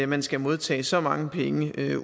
man skal modtage så mange penge